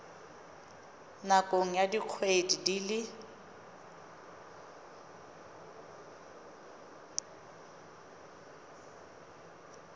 nakong ya dikgwedi di le